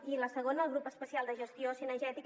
i la segona el grup especial de gestió cinegètica